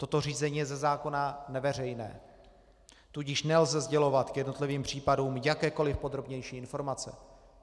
Toto řízení je ze zákona neveřejné, tudíž nelze sdělovat k jednotlivým případům jakékoliv podrobnější informace.